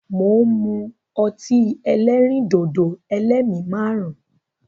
Mo ń mú ọtí ẹlẹ́rìndòdò "ẹlẹ́mi márùn-ún ".